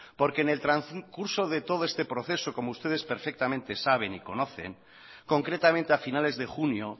porque en el transcurso de todo este proceso como ustedes perfectamente saben y conocen concretamente a finales de junio